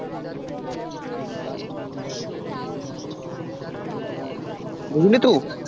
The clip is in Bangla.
বুজলি তো